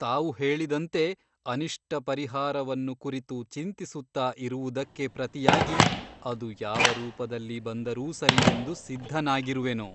ತಾವು ಹೇಳಿದಂತೆ ಅನಿಷ್ಟ ಪರಿಹಾರವನ್ನು ಕುರಿತು ಚಿಂತಿಸುತ್ತ ಇರುವುದಕ್ಕೆ ಪ್ರತಿಯಾಗಿ ಅದು ಯಾವ ರೂಪದಲ್ಲಿ ಬಂದರೂ ಸರಿಯೆಂದು ಸಿದ್ಧನಾಗಿರುವೆನು.